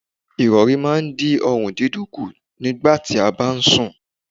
Ìrọ̀rí máa ń dín ọrùn dídùn kù nígbà tí a bá ń sùn.